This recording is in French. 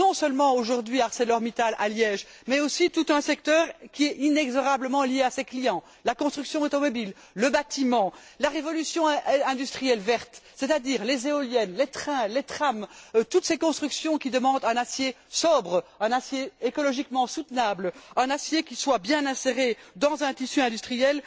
Non seulement, aujourd'hui, ArcelorMittal à Liège, mais aussi tout un secteur qui est inexorablement lié à ses clients la construction automobile, le bâtiment, la révolution industrielle verte, c'est à dire les éoliennes, les trains, les trams, toutes ces constructions qui demandent un acier sobre, un acier écologiquement soutenable, un acier qui soit bien inséré dans un tissu industriel.